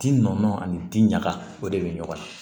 Ji nɔɔni ani den ɲaga o de bɛ ɲɔgɔn na